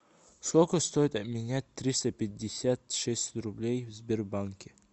сколько стоит обменять триста пятьдесят шесть рублей в сбербанке